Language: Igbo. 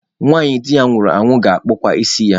Nwanyị di ya nwụrụ anwụ na-akpụkwa isi ya.